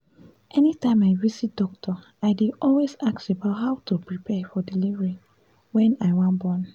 anytime i visit doctor i dey always ask about how to prepare for delivery wen i wan born